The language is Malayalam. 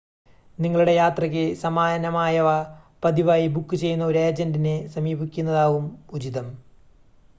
നിങ്ങളുടെ യാത്രയ്ക്ക് സമാനമായവ പതിവായി ബുക്ക് ചെയ്യുന്ന ഒരു ഏജൻ്റിനെ സമീപിക്കുന്നതാകും ഉചിതം